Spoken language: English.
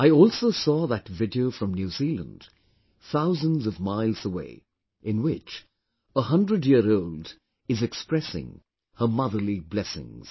I also saw that video from New Zealand, thousands of miles away, in which a 100 year old is expressing her motherly blessings